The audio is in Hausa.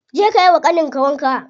Je ka yiwa ƙanin ka wanka.